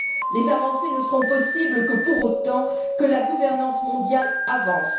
Les avancées ne seront possibles que pour autant que la gouvernance mondiale avance.